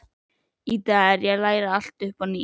Í dag er ég að læra allt upp á nýtt.